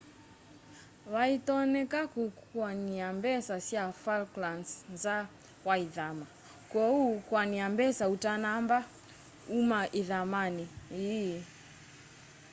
vaĩtonyeka kukuania mbesa sya falklands nza wa ithama kwoou kuania mbesa utanamba uma ĩthamanĩ ĩi